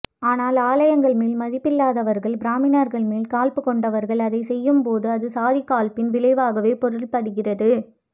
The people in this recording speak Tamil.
ஆனால் ஆலயங்கள் மேல் மதிப்பில்லாதவர்கள் பிராமணர்கள் மேல் காழ்ப்பு கொண்டவர்கள் அதைச்செய்யும்போது அது சாதிக்காழ்ப்பின் விளைவாகவே பொருள்படுகிறது